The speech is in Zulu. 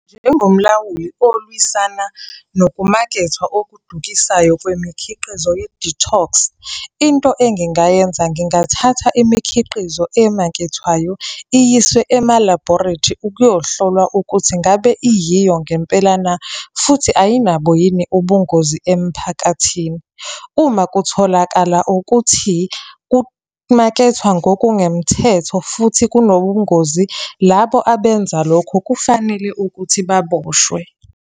Njengomlawuli olwisana nokumakethwa okudukisayo kwemikhiqizo ye-detox, into engingayenza, ngingathatha imikhiqizo emakethwayo iyiswe ema-laboratory ukuyohlolwa ukuthi ngabe iyiyo ngempela na, futhi ayinabo yini ubungozi emphakathini. Uma kutholakala ukuthi kumakethwa ngokungemthetho, futhi kunobungozi, labo abenza lokho kufanele ukuthi baboshwe.